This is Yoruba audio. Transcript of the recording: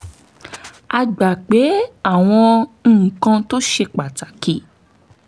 a gbà pé àwọn nǹkan tó ṣe pàtàkì